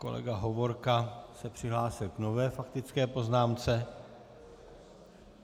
Kolega Hovorka se přihlásil k nové faktické poznámce.